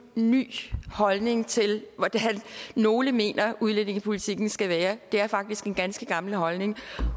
ny holdning til hvordan nogle mener udlændingepolitikken skal være det er faktisk en ganske gammel holdning